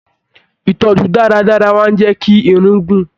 Ìtọjú dáradára máa n jẹ kí Irun gun.